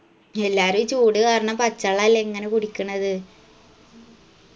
എല്ലാരു ഈ ചൂട് കാരണം പച്ചാള്ളല്ലേ ഇങ്ങന കുടിക്കണത്